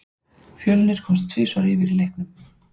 Fjölnir komst tvisvar yfir í leiknum.